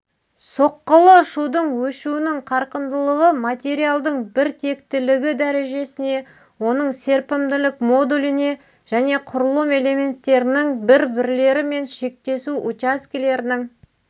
соққылы шудың өшуінің қарқындылығы материалдың бір тектілігі дәрежесіне оның серпімділік модуліне және құрылым элементтерінің бір-бірлерімен шектесу учаскелерінің